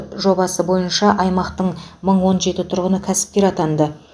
жобасы бойынша аймақтың мың он жеті тұрғыны кәсіпкер атанды